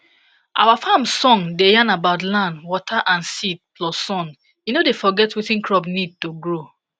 our farm song da yan about land water and seed plus sun e no da forget wetin crop need to grow